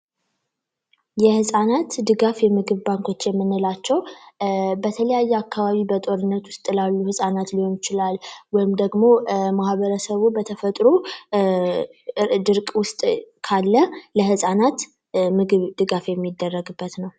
የፃናት ድጋፍ የምግብ ባንኮች የምንላቸው በተለያየ አካባቢ በጦርነት ውስጥ ላሉ ህጻናት ሊሆን ይችላል ወይም ደግሞ ማህበረሰብ በተፈጥሮ ድርቅ ውስጥ ካለ ለህፃናት የምግብ ድጋፍ የሚደረግበት ነው።